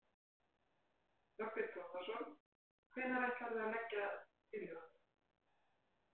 Þorbjörn Þórðarson: Hvenær ætlarðu að leggja tillöguna?